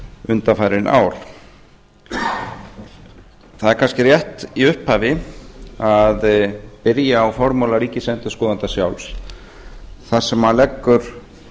undanfarin ár það er kannski rétt í upphafi að byrja á formála ríkisendurskoðanda sjálfs þar sem hann leggur